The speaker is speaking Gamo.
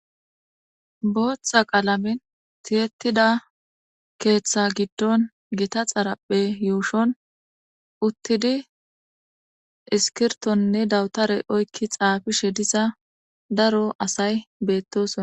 Botha qalamen tiyetida ketha gidon gotta xaraphe yushon uttidi iskirtonne dawutere oyki xafishe diza dasa asti betosona.